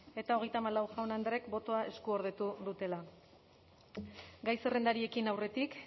eta hogeita hamalau jaun andreek botoa eskuordetu dutela gai zerrendari ekin aurretik